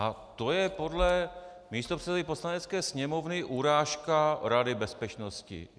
A to je podle místopředsedy Poslanecké sněmovny urážka Rady bezpečnosti.